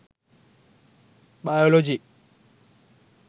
biology